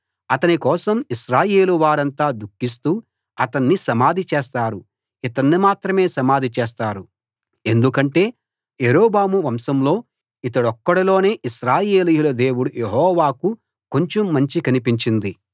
అతని కోసం ఇశ్రాయేలు వారంతా దుఃఖిస్తూ అతన్ని సమాధి చేస్తారు ఇతన్ని మాత్రమే సమాధి చేస్తారు ఎందుకంటే యరొబాము వంశంలో ఇతడొక్కడిలోనే ఇశ్రాయేలీయుల దేవుడు యెహోవాకు కొంచెం మంచి కనిపించింది